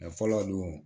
fɔlɔ don